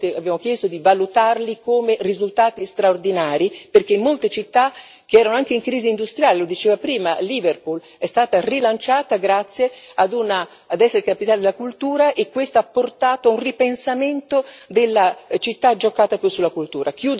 Abbiamo chiesto di valutarli come risultati straordinari, perché in molte città, che erano anche in crisi industriali lo dicevamo prima, Liverpool è stata rilanciata grazie ad essere capitale della cultura e questo ha portato a un ripensamento della città, giocata più sulla cultura.